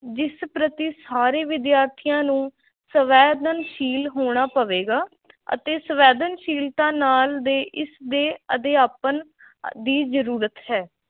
ਜਿਸ ਪ੍ਰਤੀ ਸਾਰੇ ਵਿਦਿਆਰਥੀਆਂ ਨੂੰ ਸੰਵੇਦਨਸ਼ੀਲ ਹੋਣਾ ਪਵੇਗਾ ਅਤੇ ਸੰਵੇਦਨਸ਼ੀਲਤਾ ਨਾਲ ਦੇ ਇਸ ਦੇ ਅਧਿਆਪਨ ਦੀ ਜ਼ਰੂਰਤ ਹੈ।